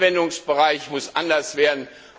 Der Anwendungsbereich muss anders werden.